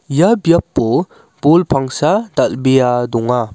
ia biapo bol pangsa dal·bea donga.